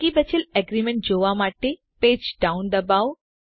બાકી બચેલ એગ્રીમેન્ટ જોવા માટે પેજ ડાઉન દબાવો